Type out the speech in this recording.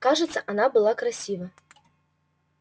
кажется она была красива